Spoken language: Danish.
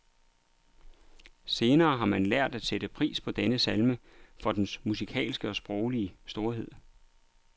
Senere har man lært at sætte pris på denne salme for dens musikalske og sproglige storhed.